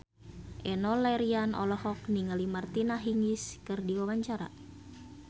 Enno Lerian olohok ningali Martina Hingis keur diwawancara